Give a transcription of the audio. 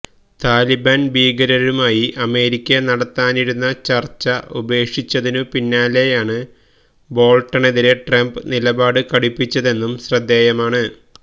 താലിബാന് ഭീകരരുമായി അമേരിക്ക നടത്താനിരുന്ന ചര്ച്ച ഉപേക്ഷിച്ചതിനു പിന്നാലെയാണ് ബോള്ട്ടണെതിരെ ട്രംപ് നിലപാട് കടുപ്പിച്ചതെന്നും ശ്രദ്ധേയമാണ്